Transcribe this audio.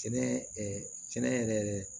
Sɛnɛ kɛnɛ yɛrɛ